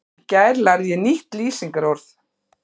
Í gær lærði ég nýtt lýsingarorð.